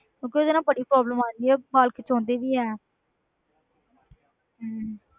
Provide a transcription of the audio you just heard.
ਕਿਉਂਕਿ ਉਹਦੇ ਨਾਲ ਬੜੀ problem ਆ ਜਾਂਦੀ ਹੈ, ਵਾਲ ਖਿੱਚਾਉਂਦੇ ਵੀ ਹੈ ਹਮ